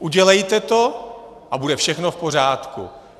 Udělejte to a bude všechno v pořádku.